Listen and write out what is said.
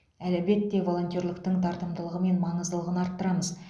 әлбетте волонтерліктің тартымдылығы мен маңыздылығын арттырамыз